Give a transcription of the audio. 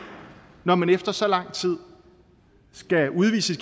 når man efter så lang tid skal udvise